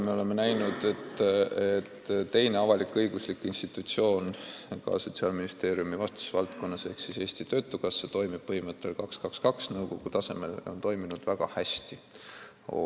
Me oleme näinud, et teine avalik-õiguslik institutsioon Sotsiaalministeeriumi vastutusvaldkonnas ehk Eesti Töötukassa toimib nõukogu tasemel põhimõttel 2 : 2 : 2 ja on toiminud väga hästi.